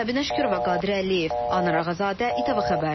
Səbinə Şükürova, Qadir Əliyev, Anar Ağazadə, İTV Xəbər.